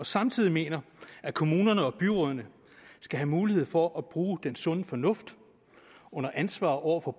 samtidig mener at kommunerne og byrådene skal have mulighed for at bruge den sunde fornuft under ansvar over for